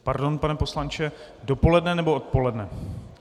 Pardon, pane poslanče, dopoledne, nebo odpoledne?